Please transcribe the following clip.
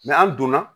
an donna